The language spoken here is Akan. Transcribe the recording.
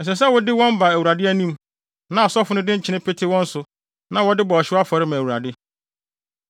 Ɛsɛ sɛ wode wɔn ba Awurade anim, na asɔfo de nkyene pete wɔn so na wɔde bɔ ɔhyew afɔre ma Awurade.